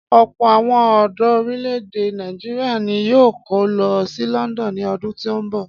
Ọ̀pọ̀ àwọn ọ̀dọ orílè-èdè Nàìjíríà ni yóò kó lọ sí London ní ọdún tí ń bọ̀.